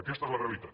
aquesta és la realitat